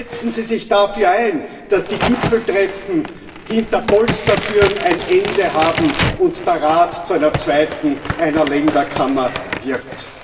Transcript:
Setzen Sie sich dafür ein, dass die Gipfeltreffen hinter Polstertüren ein Ende haben und der Rat zu einer zweiten, einer Länderkammer, wird.